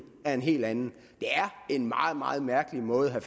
er en helt anden det er en meget meget mærkelig måde at